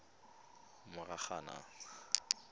moranang